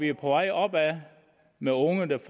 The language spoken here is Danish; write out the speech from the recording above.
er på vej opad med unge der